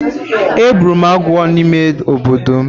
Egburu m agwo n’ime obodo.